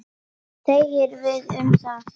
Hvað segir Viðar um það?